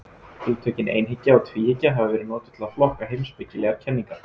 Hugtökin einhyggja og tvíhyggja hafa verið notuð til að flokka heimspekilegar kenningar.